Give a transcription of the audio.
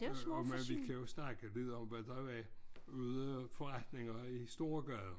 Øh og men vi kan jo snakke videre om hvad der var ude forretninger i storegaden